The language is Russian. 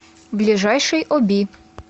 ближайший оби